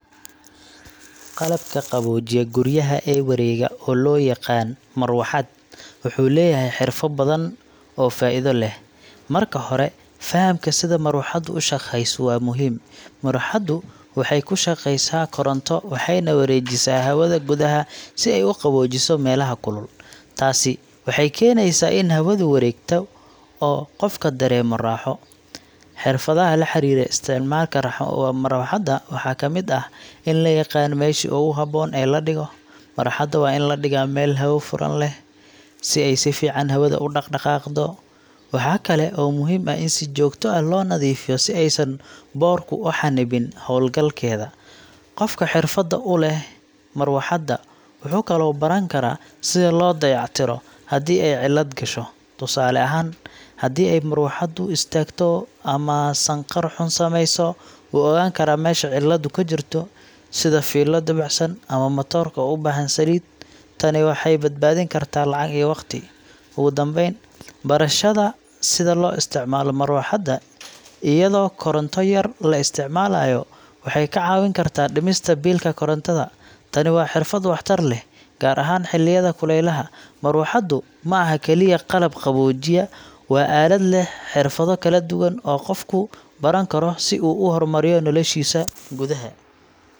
Qalabka qaboojiya guryaha ee wareega, oo loo yaqaan marawaxad, wuxuu leeyahay xirfado badan oo faa’iido leh. Marka hore, fahamka sida marawaxaddu u shaqeyso waa muhiim. Marawaxaddu waxay ku shaqeysaa koronto waxayna wareejisaa hawada gudaha si ay u qaboojiso meelaha kulul. Taasi waxay keenaysaa in hawadu wareegto oo qofka dareemo raaxo. Xirfadaha la xiriira isticmaalka marawaxadda waxaa kamid ah in la yaqaan meeshii ugu habboon ee la dhigo. Marawaxadda waa in la dhigaa meel hawo furan leh, si ay si fiican hawada u dhaqaaqdo. Waxaa kale oo muhiim ah in si joogto ah loo nadiifiyo si aysan boodhku u xannibin hawlgalkeeda. Qofka xirfad u leh marawaxaddu wuxuu kaloo baran karaa sida loo dayactiro haddii ay cilad gasho. Tusaale ahaan, haddii ay marawaxaddu istaagto ama sanqadh xun samayso, wuu ogaan karaa meesha ciladu ka jirto sida fiilo dabacsan ama matoorka oo u baahan saliid. Tani waxay badbaadin kartaa lacag iyo waqti. Ugu dambayn, barashada sida loo isticmaalo marawaxadda iyadoo koronto yar la isticmaalayo waxay kaa caawin kartaa dhimista biilka korontada. Tani waa xirfad waxtar leh, gaar ahaan xilliyada kulaylaha. Marawaxaddu ma aha kaliya qalab qaboojiya, waa aalad leh xirfado kala duwan oo qofku baran karo si uu u horumariyo noloshiisa gudaha.